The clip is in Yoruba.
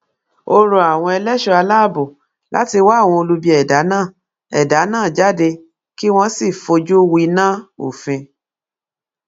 ó rọ àwọn ẹṣọ aláàbọ láti wá àwọn olubi ẹdá náà ẹdá náà jáde kí wọn sì fojú winá òfin